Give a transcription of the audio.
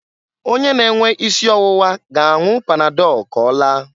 Onye na-enwe isi ọwụwa ga-anwụ panadọl k'ọlaa.